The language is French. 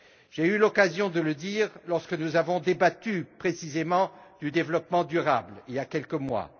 J'ai eu l'occasion de le dire, lorsque nous avons débattu précisément du développement durable, il y a quelques mois.